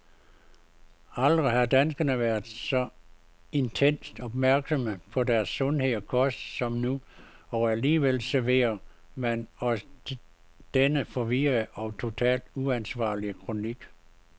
Aldrig har danskerne været så intenst opmærksomme på deres sundhed og kost som nu, og alligevel serverer man os denne forvirrende og totalt uanvendelige kronik.